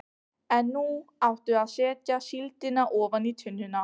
En nú áttu að setja síldina ofan í tunnuna.